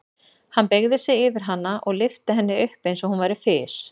Hann beygði sig yfir hana og lyfti henni upp eins og hún væri fis.